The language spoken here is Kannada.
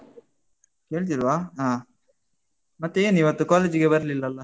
ಕೇಳ್ತಿಲ್ವಾ? ಹ. ಮತ್ತೆ ಏನಿವತ್ತು college ಗೆ ಬರ್ಲಿಲ್ಲಲ್ಲ?